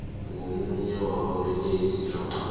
ngomunye wababelethi namkha